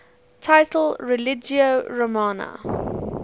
title religio romana